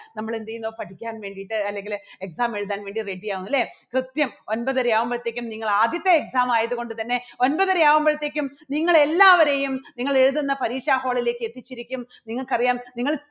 നമ്മൾ എന്ത് ചെയ്യുന്നു പഠിക്കാൻ വേണ്ടിയിട്ട് അല്ലെങ്കിൽ exam എഴുതാൻ വേണ്ടി ready യാകുന്നു, അല്ലേ? കൃത്യം ഒൻപതര ആകുമ്പോഴത്തേക്കും നിങ്ങൾ ആദ്യത്തെ exam ആയതുകൊണ്ട് തന്നെ ഒൻപതര ആകുമ്പോഴത്തേക്കും നിങ്ങളെ എല്ലാവരെയും നിങ്ങൾ എഴുതുന്ന പരീക്ഷ hall ലേക്ക് എത്തിച്ചിരിക്കും നിങ്ങൾക്കറിയാം നിങ്ങൾ